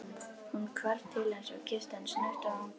Hún hvarf til hans og kyssti hann snöggt á vangann.